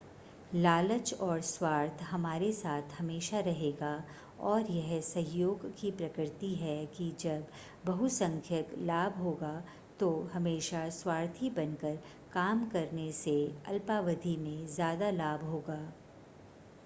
लालच और स्वार्थ हमारे साथ हमेशा रहेगा और यह सहयोग की प्रकृति है कि जब बहुसंख्यक लाभ होगा तो हमेशा स्वार्थी बनकर काम करने से अल्पावधि में ज़्यादा लाभ होगा